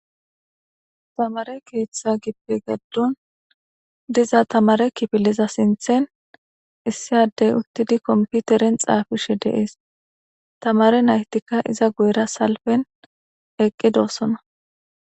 Tamare keeththa gippe gaddon diza tamare kifiliza sinthen issiaddey uttidi komputeren xaafishe deees tamare naytikka iza guyra salfen eqqidoosona